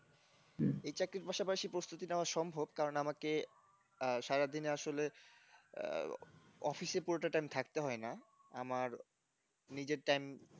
এই চাকরির পাশাপাশি প্রস্তুতি নেওয়া সম্ভব কারণ আমাকে সারাদিনে আসলে আহ office এ পুরোটা time থাকতে হয় না আমার নিজের time